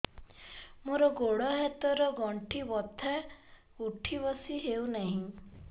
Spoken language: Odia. ମୋର ଗୋଡ଼ ହାତ ର ଗଣ୍ଠି ବଥା ଉଠି ବସି ହେଉନାହିଁ